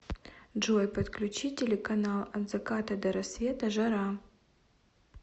джой подключи телеканал от заката до рассвета жара